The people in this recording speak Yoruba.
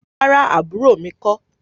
Rárá, àbúrò mi kọ́.